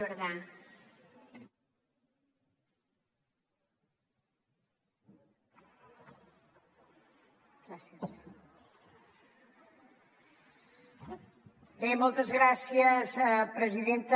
bé moltes gràcies presidenta